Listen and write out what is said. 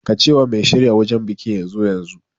Ka ce wa mai shirya wajan bikin ya zo yanzu